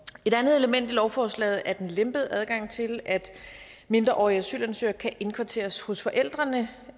et andet element i lovforslaget er den lempede adgang til at mindreårige asylansøgere kan indkvarteres hos forældrene